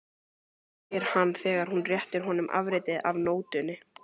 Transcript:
spyr hann þegar hún réttir honum afritið af nótunni.